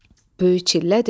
Böyük çillə dedi: